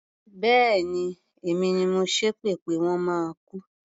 Bẹ́ẹ̀ni, èmi ni mo ṣépè pé wọ́n máa kú.